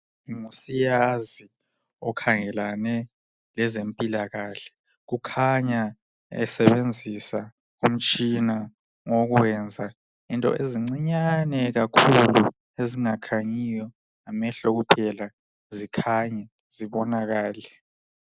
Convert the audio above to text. Ngusiyazi okhangelane lezempilakahle, kukhanya esebenzisa umtshina wokuyenza into ezincinyane kakhulu. Ezingakhanyiyo ngamehlo kuphela, zikhanye zibonakale.